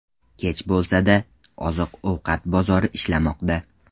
Kech bo‘lsa-da, oziq-ovqat bozori ishlamoqda.